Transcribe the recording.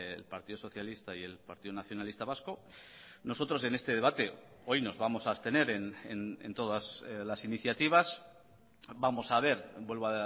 el partido socialista y el partido nacionalista vasco nosotros en este debate hoy nos vamos a abstener en todas las iniciativas vamos a ver vuelvo